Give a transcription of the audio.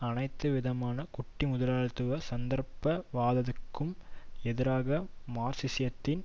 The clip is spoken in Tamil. அனைத்து விதமான குட்டிமுதலாளித்துவ சந்தர்ப் பவாதத்துக்கும் எதிராக மார்க்சியத்தின்